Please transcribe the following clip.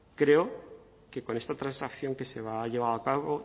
creo que con esta transacción que se ha llevado a cabo